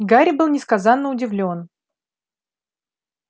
гарри был несказанно удивлён